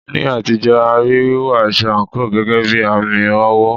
Ní àtijọ́, a rí wíwọ aṣọ àǹkóò gẹ́gẹ́ bí àmì ọ̀wọ̀.